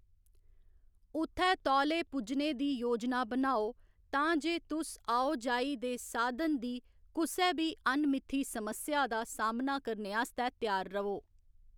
उत्थै तौले पुज्जने दी योजना बनाओ तां जे तुस आओजाई दे साधन दी कुसै बी अनमिथी समस्या दा सामना करने आस्तै त्यार र'वो।